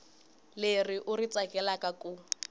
leri u ri tsakelaka ku